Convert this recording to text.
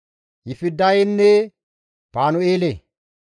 Yifidayenne Panu7eele.